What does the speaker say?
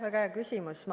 Väga hea küsimus.